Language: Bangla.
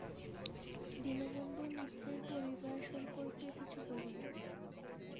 দীনবন্ধু মিত্রের পরিবার সম্পর্কে কিছু বলুন?